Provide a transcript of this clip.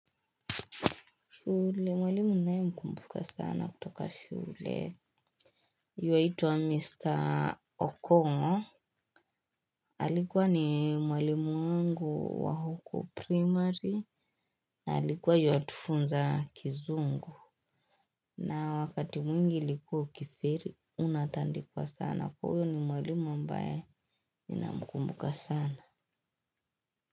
Shule, mwalimu naye mkumbuka sana kutoka shule. Yuwaitwa Mr. Okongo. Alikua ni mwalimu wangu wa huku primary. Alikua yu watufunza kizungu. Na wakati mwingi ilikuwa ukifeli, unatandikwa sana. Huyo ni mwalimu ambaye ninamkumbuka sana.